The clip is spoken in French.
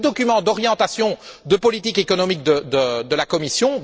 C'est le document d'orientation de politique économique de la Commission.